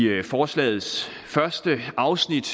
forslagets første afsnit